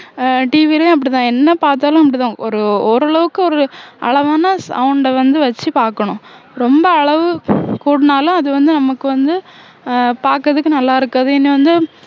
அஹ் TV லயும் அப்படிதான் என்ன பாத்தாலும் அப்படிதான் ஒரு ஓரளவுக்கு ஒரு அளவான sound அ வந்து வச்சு பாக்கணும் ரொம்ப அளவு கூடுனாலும் அது வந்து நமக்கு வந்து உம் பார்க்கிறதுக்கு நல்லா இருக்காது இனி வந்து